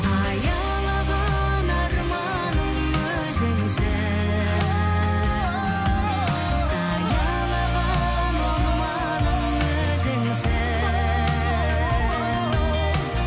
аялаған арманым өзіңсің саялаған орманым өзіңсің